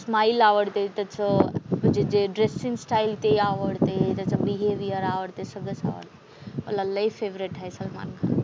Smile आवडते, त्याचं म्हणजे जे ड्रेसिंग स्टाईल ते आवडते. त्याचं बिहेविअर आवडते. सगळंच आवडते. मला लय फेव्हरेट आहे सलमान खान.